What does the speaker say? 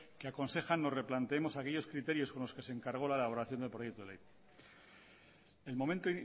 que aconsejan nos replanteemos aquellos criterios con los que se encargó la elaboración del proyecto de ley el momento